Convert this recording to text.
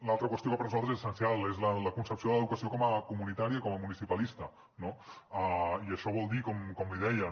una altra qüestió que per nosaltres és essencial és la concepció de l’educació com a comunitària com a municipalista no i això vol dir com li deia no